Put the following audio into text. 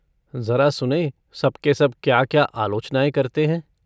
जरा सुनें सब के सब क्या क्या आलोचनाएँ करते हैं।